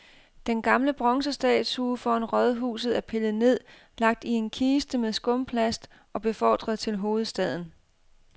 Den gamle bronzestatue foran rådhuset er pillet ned, lagt i en kiste med skumplast og befordret til hovedstaden.